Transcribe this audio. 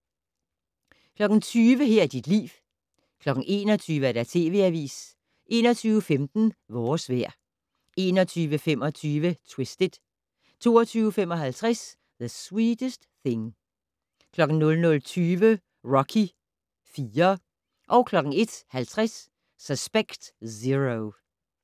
20:00: Her er dit liv 21:00: TV Avisen 21:15: Vores vejr 21:25: Twisted 22:55: The Sweetest Thing 00:20: Rocky IV 01:50: Suspect Zero